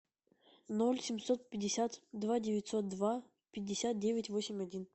ноль семьсот пятьдесят два девятьсот два пятьдесят девять восемь один